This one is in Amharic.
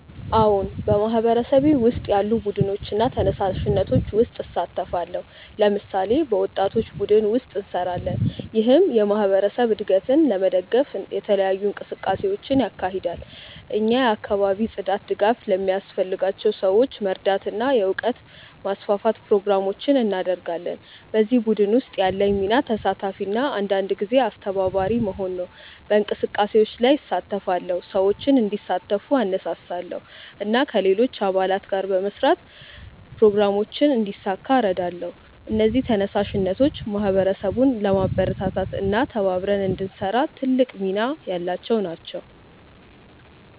አዎን፣ በማህበረሰቤ ውስጥ ያሉ ቡድኖችና ተነሳሽነቶች ውስጥ እሳተፋለሁ። ለምሳሌ፣ በወጣቶች ቡድን ውስጥ እንሰራለን፣ ይህም የማህበረሰብ እድገትን ለመደገፍ የተለያዩ እንቅስቃሴዎችን ያካሂዳል። እኛ የአካባቢ ጽዳት፣ ድጋፍ ለሚያስፈልጋቸው ሰዎች መርዳት እና የእውቀት ማስፋፋት ፕሮግራሞችን እናደርጋለን። በዚህ ቡድን ውስጥ ያለኝ ሚና ተሳታፊ እና አንዳንድ ጊዜ አስተባባሪ መሆን ነው። በእንቅስቃሴዎች ላይ እሳተፋለሁ፣ ሰዎችን እንዲሳተፉ እነሳሳለሁ እና ከሌሎች አባላት ጋር በመስራት ፕሮግራሞችን እንዲሳካ እረዳለሁ። እነዚህ ተነሳሽነቶች ማህበረሰቡን ለማበረታታት እና ተባብረን እንድንሰራ ትልቅ ሚና ያላቸው ናቸው።